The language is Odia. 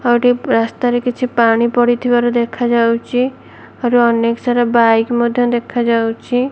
ଆଉଟିକେ ରାସ୍ତାରେ କିଛି ପାଣି ପଡିଥିବାର ଦେଖାଯାଉଛି। ଆଉ ଅନେକ ସାରା ବାଇକ ମଧ୍ୟ ଦେଖାଯାଉଛି।